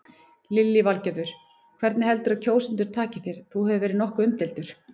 Lillý Valgerður: Hvernig heldurðu að kjósendur taki þér, þú hefur verið nokkuð umdeildur?